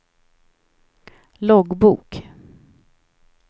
loggbok